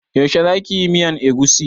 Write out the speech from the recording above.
Yaushe za ki yi miyan egusi?